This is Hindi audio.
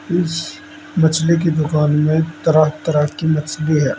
इस मछली की दुकान में तरह तरह की मछली है।